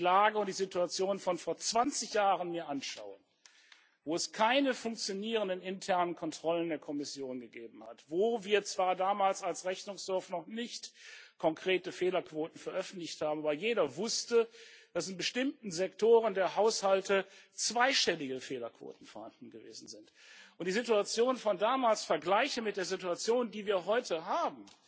Wenn ich mit die Lage und die Situation von vor 20 Jahren anschaue, wo es keine funktionierenden internen Kontrollen der Kommission gegeben hat, wo wir zwar damals als Rechnungshof noch nicht konkrete Fehlerquoten veröffentlicht haben, weil jeder wusste, dass in bestimmten Sektoren der Haushalte zweistellige Fehlerquoten vorhanden gewesen sind, und ich die Situation von damals vergleiche mit der Situation, die wir heute haben,